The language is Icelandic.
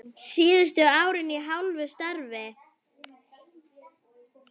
Síðustu árin í hálfu starfi.